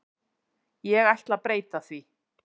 Ég ætla breyta því.